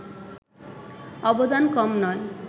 অবদান কম নয়